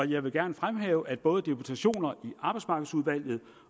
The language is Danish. jeg vil gerne fremhæve at både deputationer i arbejdsmarkedsudvalget